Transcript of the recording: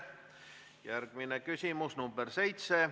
Järgmine küsimus, nr 7.